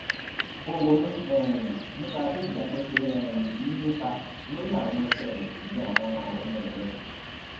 ó ronú um nípa bí ìgbàgbó ṣe um ń nípa lórí àwọn ìṣe rè ju àwọn òrò ẹnu rè lọ